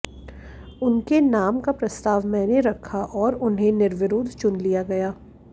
उनके नाम का प्रस्ताव मैंने रखा और उन्हें निर्विरोध चुन लिया गया